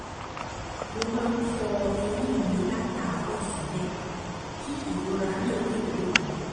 mo máa ń fọ eyín mi látàárọ̀ ṣúlẹ̀ kí ìrora náà lè dópin